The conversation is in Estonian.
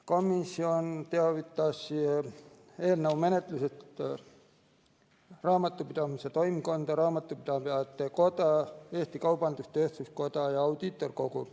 Komisjon teavitas eelnõu menetlusest Raamatupidamise Toimkonda, Eesti Raamatupidajate Kogu, Eesti Kaubandus-Tööstuskoda ja Audiitorkogu.